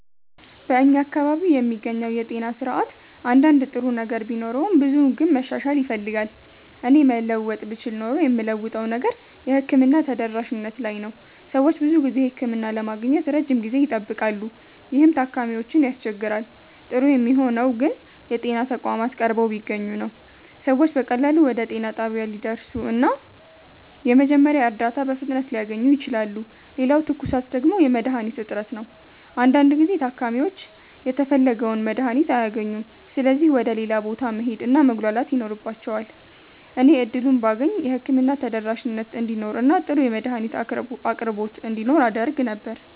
በእኛ አካባቢ የሚገኘው የጤና ስርዓት አንዳንድ ጥሩ ነገር ቢኖረውም ብዙው ግን መሻሻል ይፈልጋል። እኔ መለወጥ ብችል ኖሮ የምለውጠው ነገር የሕክምና ተደራሽነት ላይ ነው። ሰዎች ብዙ ጊዜ ህክምና ለማግኘት ረጅም ጊዜ ይጠብቃሉ፣ ይህም ታካሚዎችን ያስቸግራል። ጥሩ የሚሆነው ግን የጤና ተቋማት ቀርበው ቢገኙ ነው። ሰዎች በቀላሉ ወደ ጤና ጣቢያ ሊደርሱ እና የመጀመሪያ እርዳታ በፍጥነት ሊያገኙ ይችላሉ። ሌላው ትኩሳት ደግሞ የመድሀኒት እጥረት ነው። አንዳንድ ጊዜ ታካሚዎች የተፈለገውን መድሀኒት አያገኙም ስለዚህ ወደ ሌላ ቦታ መሄድ እና መጉላላት ይኖርባቸዋል። እኔ እድሉን ባገኝ የህክምና ተደራሽነት እንዲኖር እና ጥሩ የመድሀኒት አቅርቦት እንዲኖር አደርግ ነበር።